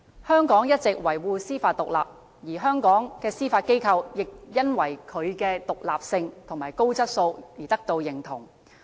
香港一直維護司法獨立，而香港的司法機構也因為其獨立性和高質素而受到認同。